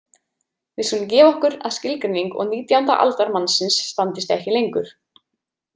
Við skulum gefa okkur að skilgreining og nítjánda aldar mannsins standist ekki lengur.